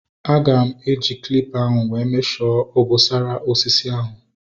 Aga m eji calipa ahu wee mesho obosara osisi ahu